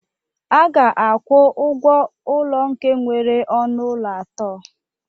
A ga-akwụ ụgwọ ụlọ nke nwere ọnụ ụlọ atọ